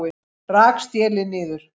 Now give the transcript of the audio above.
Rak stélið niður